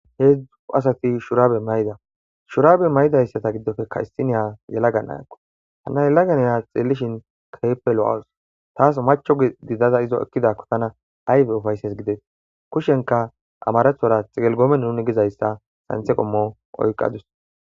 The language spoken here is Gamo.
Heezu asati shuraabe mayida. shuraabe mayida asatappe issiniya yelagakko.ha yelaga na7iya xeellishin keehippe lo7awus.taasiacho gidaakko ta izo ekkidaako ayba ufayssane kushiyaankka amarathora xiqilogoomene nuni gizayssa santhe qommo oykkadus.